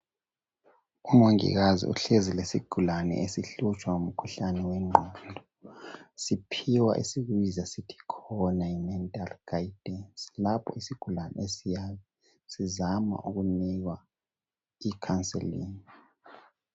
Umongikazi uhlezi lesigulane esihlutshwa ngumkhuhlane wengqondo siphiwa esikubiza sithi khona yi mental guidance lapho isigulane esiyabe sizama ukumnika i counselling